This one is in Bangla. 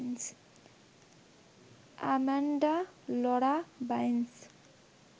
Amanda Laura Binance